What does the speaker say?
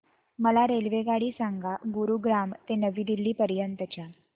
मला रेल्वेगाडी सांगा गुरुग्राम ते नवी दिल्ली पर्यंत च्या